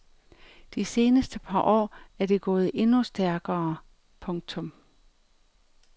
De seneste par år er det gået endnu stærkere. punktum